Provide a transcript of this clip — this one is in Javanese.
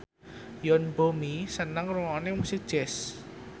Yoon Bomi seneng ngrungokne musik jazz